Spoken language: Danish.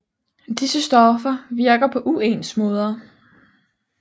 Disse stoffer virker på uens måder